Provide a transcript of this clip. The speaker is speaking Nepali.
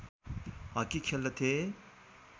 हकी खेल्दथे